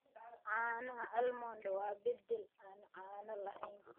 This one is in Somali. Caanaha almond waa beddel aan caano lahayn.